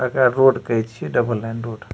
तकरा रोड कहे छिये डबल लाइन रोड ।